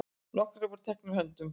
Nokkrir voru teknir höndum.